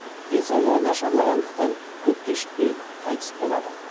денсаулығы нашарлағандықтан көп кешікпей қайтыс болады